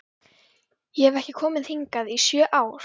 Ég hef ekki komið hingað í sjö ár